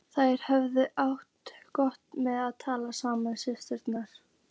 Þær höfðu alltaf átt gott með að tala saman systurnar.